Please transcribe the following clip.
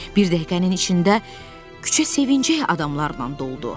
Bir dəqiqənin içində küçə sevinəcək adamlarla doldu.